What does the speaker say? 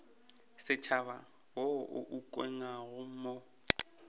setšhaba wo o ukangwego mo